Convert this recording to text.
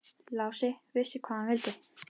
Lási vissi hvað hann vildi.